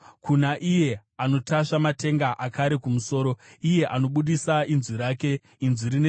kuna iye anotasva matenga akare kumusoro, iye anobudisa inzwi rake, inzwi rine simba.